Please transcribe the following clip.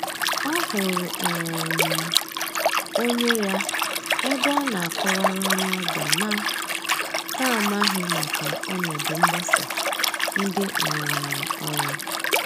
Ọ hụrụ um onye ya ebe ọ na akọ wara onye ọbịa na n'amaghi maka ọnọdụ mgbasa ndị um ọrụ.